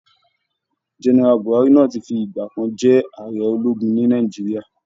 Gẹ́nẹ́rà Bùhári náà ti fi ìgbà kan jẹ́ ààrẹ ológun ní Nàìjíríà